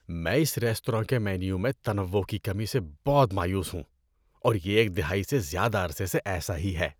میں اس ریستوراں کے مینو میں تنوع کی کمی سے بہت مایوس ہوں اور یہ ایک دہائی سے زیادہ عرصے سے ایسا ہی ہے۔